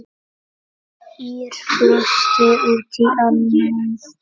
Ýr brosti út í annað.